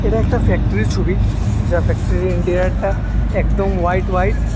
এটা একটা ফ্যাক্টরী এর ছবি যা ফ্যাক্টরি ইন্টিরিয়ার টা একদম হোয়াইট হোয়াইট ।